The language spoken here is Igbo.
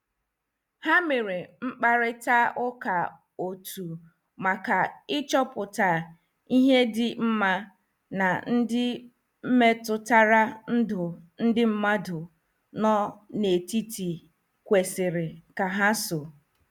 Ha mere mkparita ụka otú maka ịchọpụta ihe dị mma na ndị metụtara ndụ ndị mmadu no n'etiti kwesịrị ka ha so.